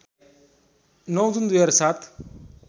९ June २००७